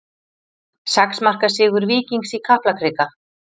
Sex marka sigur Víkings í Kaplakrika